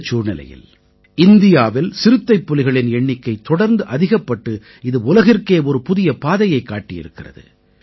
இந்தச் சூழ்நிலையில் இந்தியாவில் சிறுத்தைப்புலிகளின் எண்ணிக்கை தொடர்ந்து அதிகப்பட்டு இது உலகிற்கே ஒரு புதிய பாதையைக் காட்டியிருக்கிறது